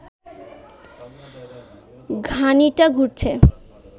ঘানিটা ঘুরছে